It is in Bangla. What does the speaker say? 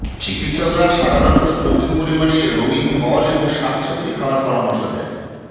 চিকিৎসকরা সাধারণত প্রচুর পরিমাণে রঙিন ফল এবং শাকসবজি খাওয়ার পরামর্শ